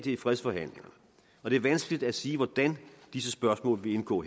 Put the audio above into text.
i fredsforhandlingerne og det er vanskeligt at sige hvordan disse spørgsmål vil indgå